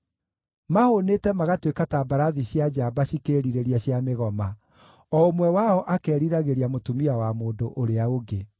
Mahũũnĩte magatuĩka ta mbarathi cia njamba cikĩĩrirĩria cia mĩgoma, o ũmwe wao akeriragĩria mũtumia wa mũndũ ũrĩa ũngĩ.